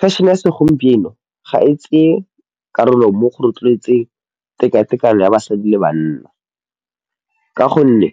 Fashion-e ya segompieno ga e tseye karolo mo go rotloetseng tekatekano ya basadi le banna, ka gonne